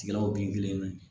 Tigaw bin kelen